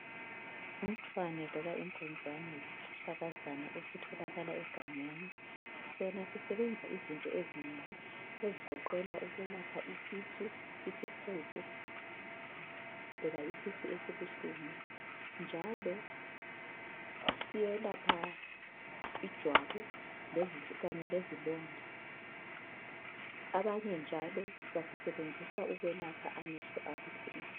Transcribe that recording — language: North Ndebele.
Umthwane loba inkunzane yisihlahlakazana esitholakala egangeni. Sona sisebenza izinto ezinengi ezigoqela ukwelapha isisu, isihudo, loba isisu esibuhlungu. Njalo siyelapha ijwabu kanye lezilonda. Abanye njalo basisebenzisa ukwelapha amehlo abuhlungu.